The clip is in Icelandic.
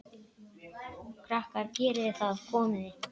Krakkar geriði það komiði!